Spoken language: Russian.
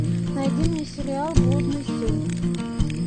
найди мне сериал блудный сын